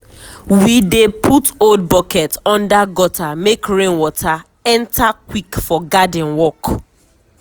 we dey put old bucket under gutter make rain water enter quick for garden work.